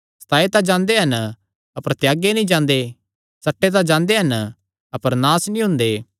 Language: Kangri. सताये तां जांदे हन अपर त्यागे नीं जांदे सट्टे तां जांदे हन अपर नास नीं हुंदे